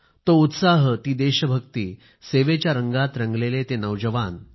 तो उत्साह ती देशभक्ती सेवेच्या रंगात रंगलेले ते नौजवान